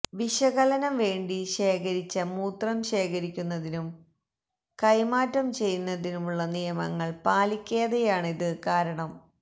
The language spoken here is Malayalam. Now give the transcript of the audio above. വിശകലനം വേണ്ടി ശേഖരിച്ച മൂത്രം ശേഖരിക്കുന്നതിനും കൈമാറ്റം ചെയ്യുന്നതിനുമുള്ള നിയമങ്ങൾ പാലിക്കാതെയാണത് കാരണം